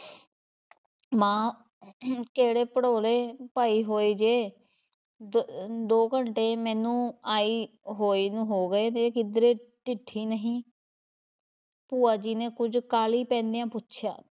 ਮਾਂ ਕਿਹੜੇ ਭੜੋਲੇ ਪਾਈ ਹੋਏ ਜੇ? ਦ~ ਦੋ ਘੰਟੇ ਮੈਨੂੰ ਆਈ ਹੋਈ ਨੂੰ ਹੋ ਗਏ ਨੇ, ਕਿੱਧਰੇ ਡਿੱਠੀ ਨਹੀਂ ਭੂਆ ਜੀ ਨੇ ਕੁੱਝ ਕਾਹਲੀ ਪੈਂਦਿਆਂ ਪੁੱਛਿਆ।